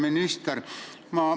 Härra minister!